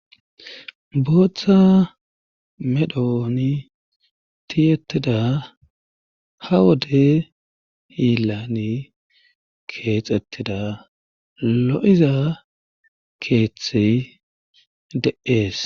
booththa medhooni tiyettida ha wode yilani keexettida lo7iza keeththey de7ees